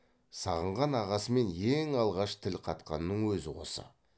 сағынған ағасымен ең алғаш тіл қатқанының өзі осы